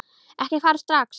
Ekki fara strax!